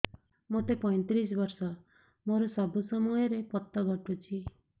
ମୋତେ ପଇଂତିରିଶ ବର୍ଷ ମୋର ସବୁ ସମୟରେ ପତ ଘଟୁଛି